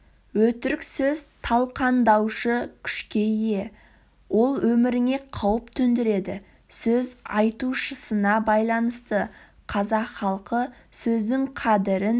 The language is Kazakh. өтірік сөз талқандаушы күшке ие ол өміріңе қауіп төндіреді сөз айтушысына байланысты қазақ халқы сөздің қадірін